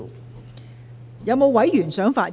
是否有委員想發言？